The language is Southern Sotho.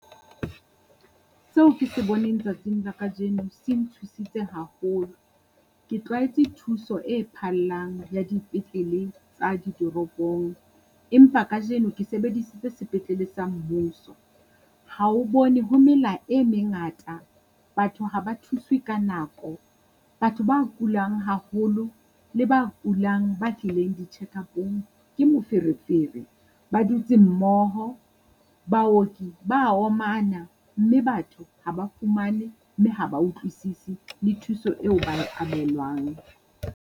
Seo ke se boneng tsatsing la kajeno se nthusitse haholo, ke tlwaetse thuso e phallang ya dipetlele tsa ditoropong, empa kajeno ke sebedisitse sepetlele sa mmuso. Ha o bone ho mela e mengata, batho ha ba thuswe ka nako, batho ba kulang haholo le ba kulang ba tlileng di-checkup-ong. Ke moferefere ba dutse mmoho, baoki ba omana mme batho ha ba fumane mme ha ba utlwisisi le thuso eo ba e abelwang.